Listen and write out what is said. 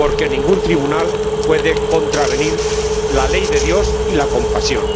porque ningún tribunal puede contravenir la ley de Dios y la compasión.